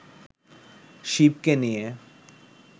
শিবকে নিয়ে